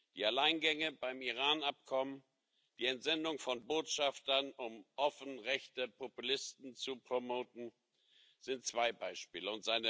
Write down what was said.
Die Alleingänge beim Iran Abkommen, die Entsendung von Botschaftern, um offen rechte Populisten zu promoten, sind zwei Beispiele.